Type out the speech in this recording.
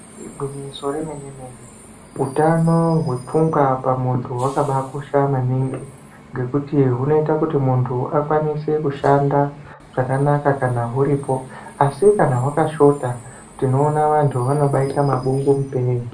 Igwinyiso remenemene hutano hwepfungwa pamunhu hwakabakosha maningi nekuti hunoita kuti muntu akwanise kushanda kana huripo asi kana hwakashota tinoona antu anobaite mabungumupee .